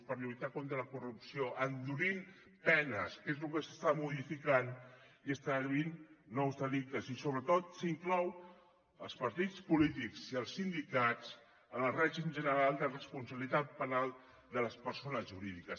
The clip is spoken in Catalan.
per lluitar contra la corrupció endurint penes que és el que s’està modificant i està definint nous delictes i sobretot s’inclou els partits polítics i els sindicats en el règim general de responsabilitat penal de les persones jurídiques